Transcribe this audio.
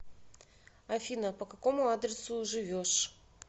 афина по какому адресу живешь